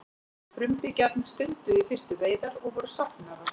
frumbyggjarnir stunduðu í fyrstu veiðar og voru safnarar